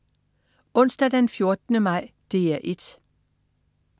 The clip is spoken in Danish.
Onsdag den 14. maj - DR 1: